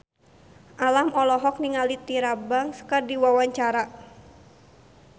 Alam olohok ningali Tyra Banks keur diwawancara